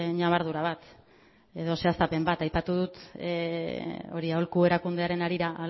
ñabardura bat edo zehaztapen bat aholku erakundearen harira